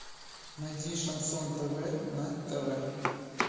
найди шансон тв на тв